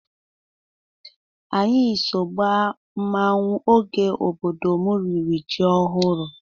Anyị so gbaa mmanwụ oge obodo m riri ji ọhụrụ.